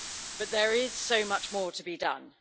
But there is so much more to be done.